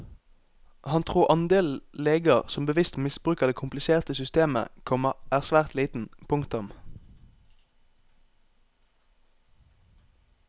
Han tror andelen leger som bevisst misbruker det kompliserte systemet, komma er svært liten. punktum